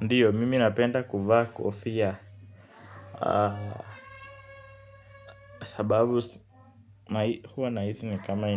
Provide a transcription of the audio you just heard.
Ndiyo, mimi napenda kuvaa kofia. Sababu huwa nahisi ni kama